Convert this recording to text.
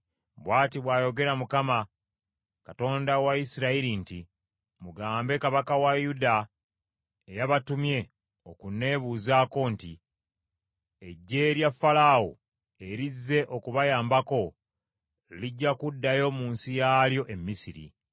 “Bw’ati bw’ayogera Mukama , Katonda wa Isirayiri nti, Mugambe kabaka wa Yuda eyabatumye okunnebuuzako nti, ‘Eggye lya Falaawo erizze okubayambako, lijja kuddayo mu nsi yaalyo e Misiri.